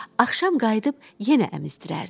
Axşam qayıdıb yenə əmizdirərdi.